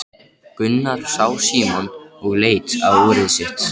Gunnar sá Símon og leit á úrið sitt.